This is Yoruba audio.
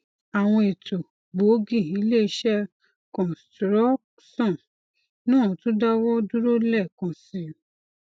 àwọn ètò gboogi iléiṣẹ kọństrọọkṣọn náà tún dáwọ dúró lẹẹkan si